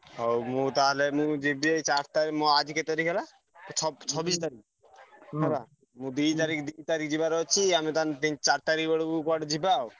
ହଉ ମୁଁ ତାହେଲେ ମୁଁ ଯିବି ଏଇ ଚାରି ତାରିଖ୍ ମୁଁ ଆଜି କେତେ ତାରିଖ୍ ହେଲା? ~ଛ ଛବିଶି ତାରିଖ୍ ମୁଁ ଦି ତାରିଖ୍ ଦି ତାରିଖ୍ ଯିବାର ଅଛି ଆମେ ତାହେଲେ ତିନି ଚାରି ତାରିଖ୍ ବେଳକୁ କୁଆଡେ ଯିବା ଆଉ।